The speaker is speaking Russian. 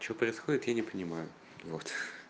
что происходит я не понимаю вот